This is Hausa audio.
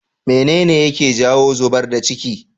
mene ne yake jawo zubar da ciki?